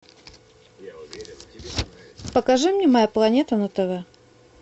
покажи мне моя планета на тв